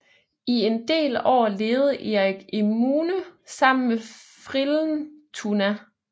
I en del år levede Erik Emune sammen med frillen Thunna